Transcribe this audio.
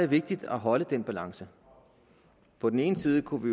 vigtigt at holde den balance på den ene side kunne